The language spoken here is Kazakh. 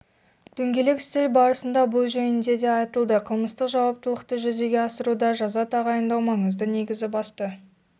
дөңгелек үстел барысында бұл жөнінде де айтылды қылмыстық жауаптылықты жүзеге асыруда жаза тағайындау маңызды негізгі басты